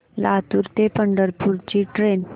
लातूर ते पंढरपूर ची ट्रेन